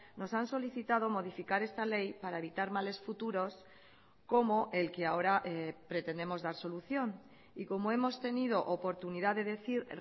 nos han solicitado modificar esta ley para evitar males futuros como el que ahora pretendemos dar solución y como hemos tenido oportunidad de decir